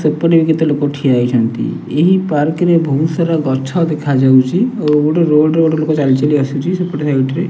ସେପଟେ ବି କେତେ ଲୋକ ଠିଆ ହେଇଛନ୍ତି ଏହି ପାର୍କ୍ ରେ ବୋହୁତ୍ ସାରା ଗଛ ଦେଖା ଯାଉଚି ଆଉ ଗୋଟେ ରୋଡ୍ ରେ ଗୋଟେ ଲୋକ ଚାଲିଚାଲି ଆସୁଚି ସେପଟ ସାଇଟ୍ ସାଇଡ୍ ରେ।